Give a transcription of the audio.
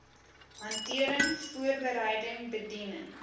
hantering voorbereiding bediening